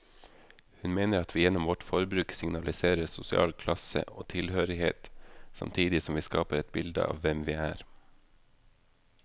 Hun mener at vi gjennom vårt forbruk signaliserer sosial klasse og tilhørighet, samtidig som vi skaper et bilde av hvem vi er.